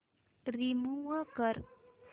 remove कर